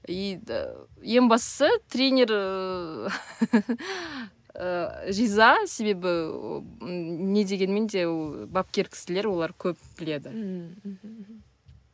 и ең бастысы тренер ыыы ыыы риза себебі ыыы не дегенмен де ол бапкер кісілер олар көп біледі ммм мхм